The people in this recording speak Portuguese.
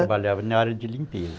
Trabalhava na área de limpeza.